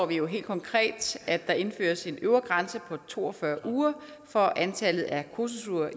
vi jo helt konkret at der indføres en øvre grænse på to og fyrre uger for antallet af kursusuger